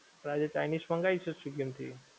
પણ આજે ચાઇનિજ મંગાવીશું સ્વીગી માંથી.